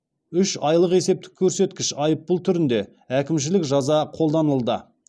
үш айлық есептік көрсеткіш айыппұл түрінде әкімшілік жаза қолданылды